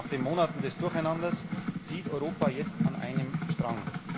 Nach den Monaten des Durcheinanders zieht Europa jetzt an einem Strang.